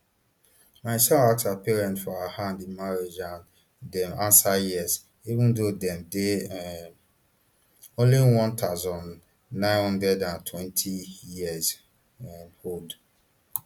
my son ask her parents for her hand in marriage and dem answere yes even though dem dey um only one thousand, nine hundred and twenty years um old